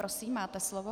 Prosím, máte slovo.